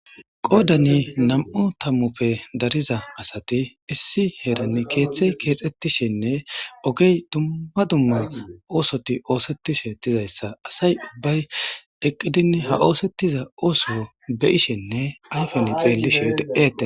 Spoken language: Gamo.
qoodani nam7u tammoppe dariza asati issi heeran keeththey keexxettishenne ogey dumma dumma oosoti oosettishe dizayssa asay ubbay eqqidin ha oosettiza ooso beyishenne ayfen xeellishe de7ete